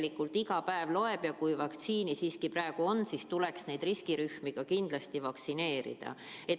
Tegelikult iga päev loeb ja kui vaktsiini praegu siiski on, siis tuleks riskirühmi kindlasti vaktsineerida.